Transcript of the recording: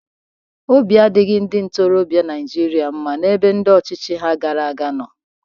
Obi adịghịri ndị ntorọbịa Naijiria mma n'ebe ndị ọchịchị ha gara aga nọ.